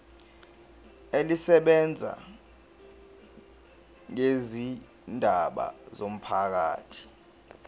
elisebenza ngezindaba zomphakathi